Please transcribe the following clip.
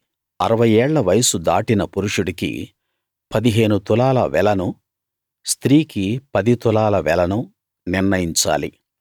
అరవై ఏళ్ల వయసు దాటిన పురుషుడికి పదిహేను తులాల వెలను స్త్రీకి పది తులాల వెలను నిర్ణయించాలి